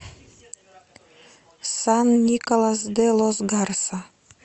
сан николас де лос гарса